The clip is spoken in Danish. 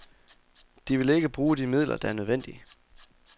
De vil ikke bruge de midler, der er nødvendige.